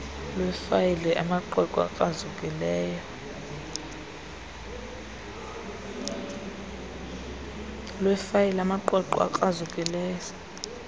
lwefayile amaqweqwe akrazukileyo